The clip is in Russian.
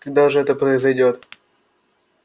когда же это произойдёт